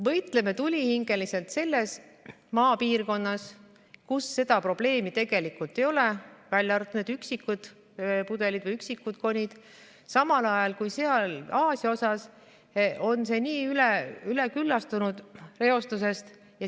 Võitleme tulihingeliselt selles Maa piirkonnas, kus seda probleemi tegelikult ei ole, välja arvatud üksikud pudelid või üksikud konid, samal ajal kui Aasia on reostusest nii üleküllastunud.